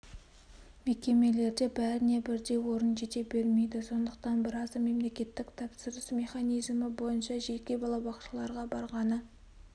мекемелерде бәріне бірдей орын жете бермейді сондықтан біразы мемлекеттік тапсырыс механизімі бойынша жеке балабақшаларға барғаны